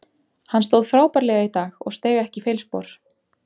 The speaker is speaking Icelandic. Hann stóð frábærlega í dag og steig ekki feilspor.